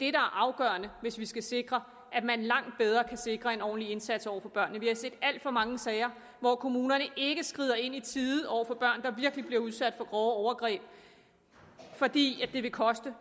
er afgørende hvis vi skal sikre at man langt bedre kan sikre en ordentlig indsats over for børnene vi har set alt for mange sager hvor kommunerne ikke skrider ind i tide over for børn der virkelig bliver udsat for grove overgreb fordi det vil koste